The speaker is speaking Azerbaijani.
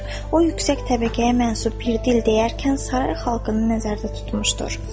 O yüksək təbəqəyə mənsup bir dil deyərkən saray xalqını nəzərdə tutmuşdur.